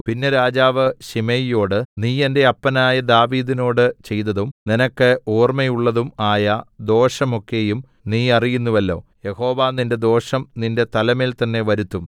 പിന്നെ രാജാവ് ശിമെയിയോട് നീ എന്റെ അപ്പനായ ദാവീദിനോട് ചെയ്തതും നിനക്ക് ഓർമ്മയുള്ളതും ആയ ദോഷമൊക്കെയും നീ അറിയുന്നുവല്ലോ യഹോവ നിന്റെ ദോഷം നിന്റെ തലമേൽ തന്നേ വരുത്തും